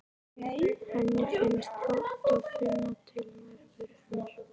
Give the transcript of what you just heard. Henni finnst gott að finna til nærveru hennar.